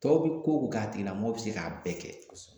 Tɔw bɛ ko o ko k'a tigilamɔgɔ bɛ se k'a bɛɛ kɛ